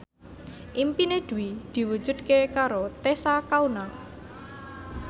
impine Dwi diwujudke karo Tessa Kaunang